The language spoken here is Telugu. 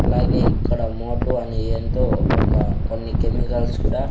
అలాగే ఇక్కడ మోటో అని ఎంటో కొన్ని కెమికల్స్ కూడా.